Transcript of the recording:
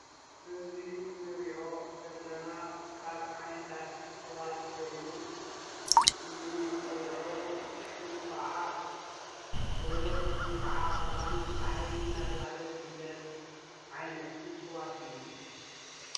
እዚ ንሪኦ ዘለና ካብ ዓይነታት እፅዋት ኮይኑ ፍሉይ መፀውዒ ሽሙ ከዓ በለስ ወይ ከዓ ቆላንቁል ባሕሪ እናተበሃለ ዝፍለጥ ዓይነት እፅዋት እዩ።